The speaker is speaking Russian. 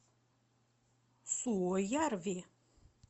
суоярви